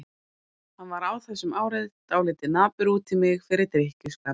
Hann var á þessum árum dálítið napur út í mig fyrir drykkjuskapinn.